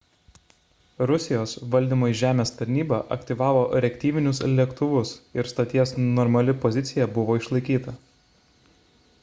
rusijos valdymo iš žemės tarnyba aktyvavo reaktyvinius lėktuvus ir stoties normali pozicija buvo išlaikyta